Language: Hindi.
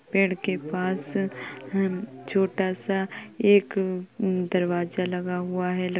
पेड़ के पास हन् छोटा स एक न् दरवाजा लगा हुआ है। लक --